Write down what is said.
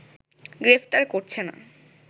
গ্রেফতার করছে না